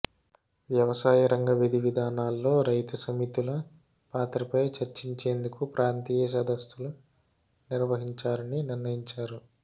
వ్యవసాయ రంగ విధివిధానాల్లో రైతు సమితుల పాత్రపై చర్చించేందుకు ప్రాంతీయ సదస్సులు నిర్వహించాలని నిర్ణయించారు